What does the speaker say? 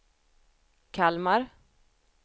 Kalmar